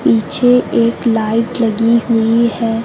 पीछे एक लाइट लगी हुई है।